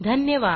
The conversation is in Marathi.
धन्यवाद